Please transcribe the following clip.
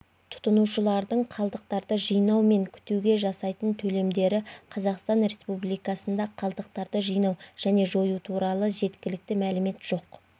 тұтынушылардың қалдықтарды жинау мен кетуге жасайтын төлемдері қазақстан республикасында қалдықтарды жинау және жою туралы жеткілікті мәлімет жоқ